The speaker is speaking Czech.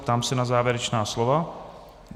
Ptám se na závěrečná slova.